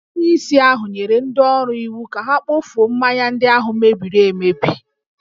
Onyeisi ahụ nyere ndị ọrụ iwu ka ha kpofuo mmanya ndị ahụ mebiri emebi